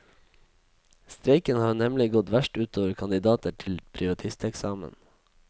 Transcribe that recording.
Streiken har nemlig gått verst utover kandidater til privatisteksamen.